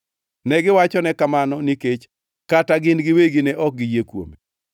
Negiwachone kamano nikech kata gin giwegi ne ok giyie kuome.